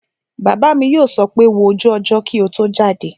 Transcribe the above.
Bàbá mi yóò sọ pé 'wo ojú ọjọ́ kí o tó jáde'